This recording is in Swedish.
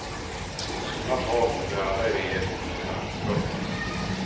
Sådana tal borde alla i regeringen hålla. punkt